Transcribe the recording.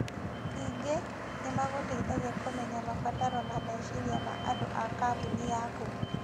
Ningĩ, nĩ magũteithagia kũmenya mabataro na meciria ma andũ a kambuni yaku.